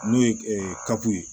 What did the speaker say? N'o ye kapiye